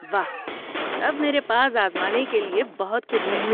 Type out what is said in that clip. واہ، تب میرے پاس آزمانے کے لیے بہت کچھ ہے۔